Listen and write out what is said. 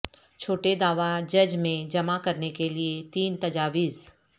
چھوٹے دعوی جج میں جمع کرنے کے لئے تین تجاویز